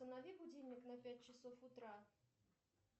установи будильник на пять часов утра